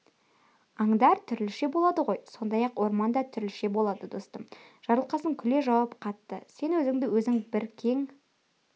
аңдар түрліше болады ғой сондай-ақ орман да түрліше болады достым жарылқасын күле жауап қатты сен өзіңді өзің бір кең